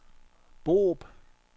Borup